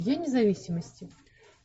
день независимости